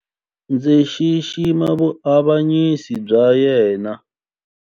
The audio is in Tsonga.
Ndzi xixima vuavanyisi bya yena.